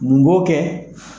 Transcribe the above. Mun b'o kɛ